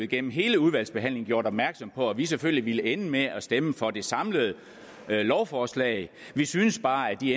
gennem hele udvalgsbehandlingen gjort opmærksom på at vi selvfølgelig ville ende med at stemme for det samlede lovforslag vi syntes bare at vi